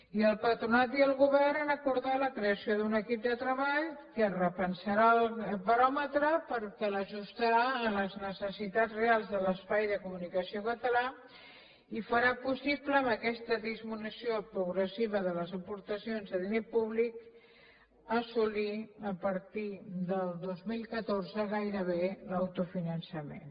i el patronat i el govern han acordat la creació d’un equip de treball que es repensarà el baròmetre perquè l’ajustarà a les necessitats reals de l’espai de comunicació català i farà possible amb aquesta disminució progressiva de les aportacions de diner públic assolir a partir del dos mil catorze gairebé l’autofinançament